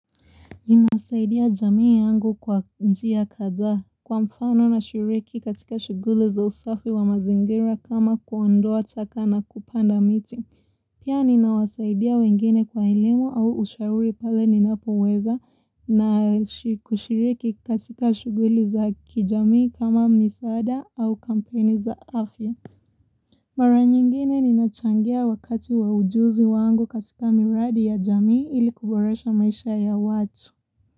Ninasaidia jamii yangu kwa njia kadha kwa mfano nashiriki katika shuguli za usafi wa mazingira kama kuondoa taka na kupanda miti. Pia ninawasaidia wengine kwa elimu au ushauri pale ninapoweza na kushiriki katika shuguli za kijamii kama misaada au kampeni za afya. Mara nyingine ninachangia wakati wa ujuzi wangu katika miradi ya jamii ili kuboresha maisha ya watu.